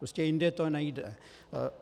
Prostě jindy to nejde.